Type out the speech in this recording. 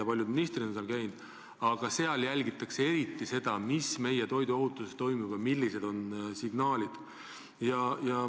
Paljud teised ministrid on ka seal käinud, aga seal jälgitakse eriti seda, kuidas meil toiduohutusega lood on ja millised on signaalid.